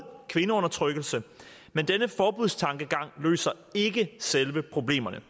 kvindeundertrykkelse men denne forbudstankegang løser ikke selve problemet